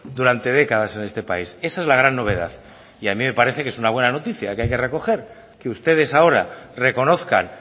durante décadas en este país esa es la gran novedad y a mí me parece que es una buena noticia que hay que recoger que ustedes ahora reconozcan